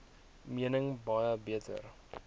mening baie beter